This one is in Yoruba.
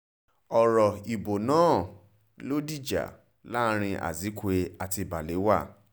ọ̀rọ̀ ìbò náà ló dìjà láàrin azikiwe àti balewa